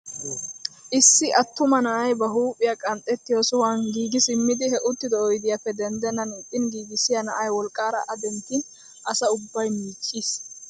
Issi attuma na'ay ba huuphphiyaa qanxxettiyoo sohuwaan giigi simmidi he uttido oydiyaappe denddenan issin giigissiyaa na'ay wolqqaara a denttin asa ubbay miicciis!